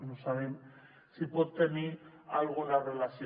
no sabem si hi pot tenir alguna relació